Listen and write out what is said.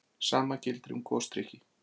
sama gildir um gosdrykki